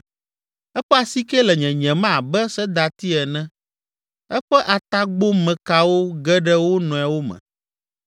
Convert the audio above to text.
Eƒe asike le nyenyem abe sedati ene, eƒe atagbomekawo ge ɖe wo nɔewo me.